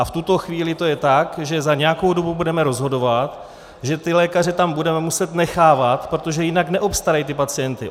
A v tuto chvíli to je tak, že za nějakou dobu budeme rozhodovat, že ty lékaře tam budeme muset nechávat, protože jinak neobstarají ty pacienty.